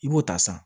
I b'o ta san